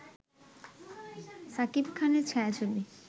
সাকিব খানের ছায়াছবি